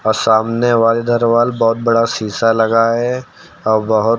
सामने वाले दरबार बहुत बड़ा शीशा लगा है और बहुत--